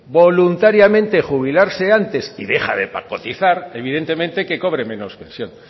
voluntariamente jubilarse antes y deja de cotizar evidentemente que cobre menos pensión